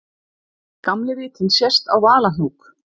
Gamli vitinn sést á Valahnúk.